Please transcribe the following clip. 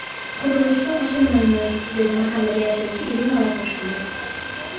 Qurilishga qo‘shilmaymiz”, dedi mahallada yashovchi Irina Lapushkina.